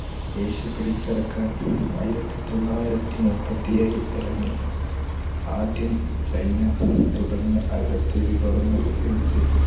Asia പിടിച്ചിറക്കാൻ ആയിരത്തി തൊള്ളായിരത്തിമുപ്പത്തിഏയിൽ ഇറങ്ങി ആദ്യം ചൈന തുടർന്ന് അവിടത്തെ വിഭവങ്ങൾ ഉപയോഗിച്